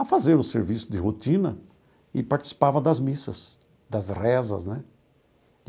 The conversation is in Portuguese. a fazer o serviço de rotina e participava das missas, das rezas né.